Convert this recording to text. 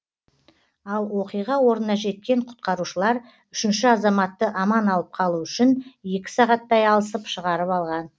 ал оқиға орнына жеткен құтқарушылар үшінші азаматты аман алып қалу үшін екі сағаттай алысып шығарып алған